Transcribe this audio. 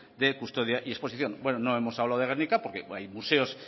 de custodia y exposición bueno no hemos hablado de gernika porque hay museos